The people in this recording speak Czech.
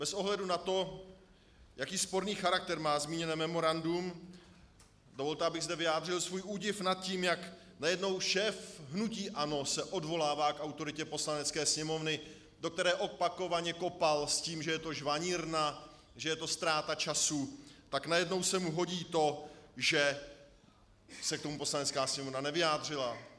Bez ohledu na to, jaký sporný charakter má zmíněné memorandum, dovolte, abych zde vyjádřil svůj údiv nad tím, jak najednou šéf hnutí ANO se odvolává k autoritě Poslanecké sněmovny, do které opakovaně kopal s tím, že je to žvanírna, že je to ztráta času, tak najednou se mu hodí to, že se k tomu Poslanecká sněmovna nevyjádřila.